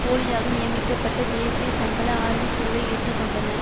போலியாக நியமிக்கப்பட்ட தேசிய சம்பள ஆய்வு குழுவை ஏற்றுக்கொண்டன